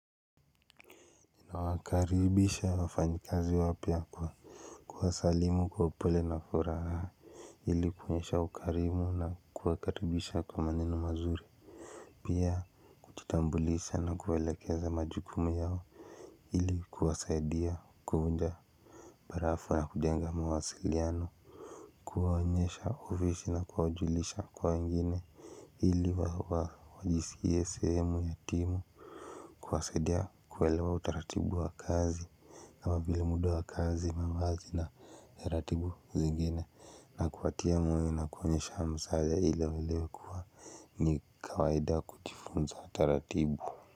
Nawakaribisha wafanyikazi wapya kwa kuwasalimu kwa upole na furaha ili kunyesha ukarimu na kuwakaribisha kwa maneno mazuri. Pia kujitambulisha na kuelekeza majukumu yao ili kuwasaidia kuvunja arafa ya kujenga mawasiliano. Kuwaonyesha ofisi na kuwajulisha kwa wengine. Ilinwajisikie sehemu ya timu. Kuwasaidia kuelewa utaratibu wa kazi kama vile muda wa kazi mavazi na taratibu zingine na kuwatia moyo na kuonyesha hamsa ile iliokuwa ni kawaida kujifunza taratibu.